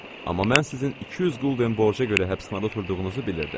Amma mən sizin 200 qulden borca görə həbsxanada oturduğunuzu bilirdim.